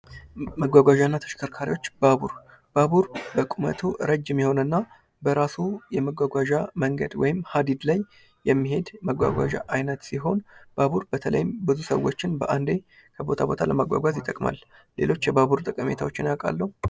መጓጓዣ እና ተሽከርካሪዎች ባቡር በቁመቱ ረጅም የሆነና በራሱ የመጓጓዣ መንገድ ወይም ሐዲድ ላይ የሚሄድ የመጓጓዣ አይነት ሲሆን ባቡር በተለይም ብዙ ሰዎችን በአንዴ ከቦታ ቦታ ለመጓዝዝ ይጠቅማል። ሌሎች የባቡር ጠቀሜታዎችን ያውቃሉ?